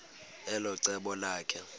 elo cebo lakhe